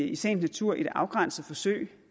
i sagens natur et afgrænset forsøg